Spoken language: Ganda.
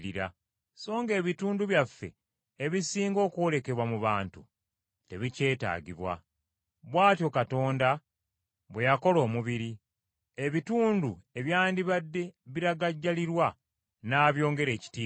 so ng’ebitundu byaffe ebisinga okwolekebwa mu bantu tebikyetaaga. Bw’atyo Katonda bwe yakola omubiri, ebitundu ebyandibadde biragajjalirwa n’abyongera ekitiibwa,